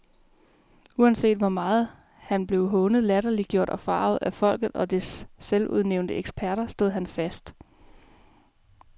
Uanset hvor meget han blev hånet, latterliggjort og foragtet af folket og dets selvudnævnte eksperter, stod han fast.